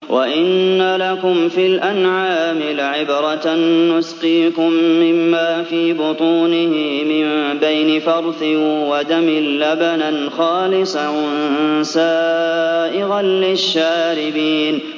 وَإِنَّ لَكُمْ فِي الْأَنْعَامِ لَعِبْرَةً ۖ نُّسْقِيكُم مِّمَّا فِي بُطُونِهِ مِن بَيْنِ فَرْثٍ وَدَمٍ لَّبَنًا خَالِصًا سَائِغًا لِّلشَّارِبِينَ